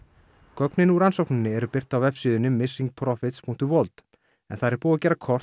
gögnin úr rannsókninni eru birt á vefsíðunni missingprofitsworld en þar er búið að gera kort